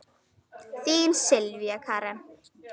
Þín Sylvía Karen.